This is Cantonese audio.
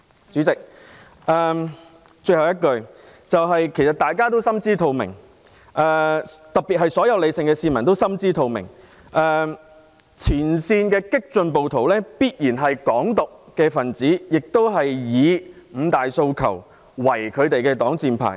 主席，最後，大家都心知肚明，特別是所有理性的市民都心知肚明，前線激進暴徒必然是"港獨"分子，他們以"五大訴求"作為擋箭牌。